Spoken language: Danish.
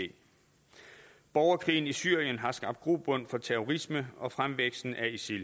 borgerkrigen i syrien har skabt grobund for terrorisme og fremvæksten af isil